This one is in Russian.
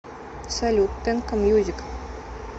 салют тенка мьюзик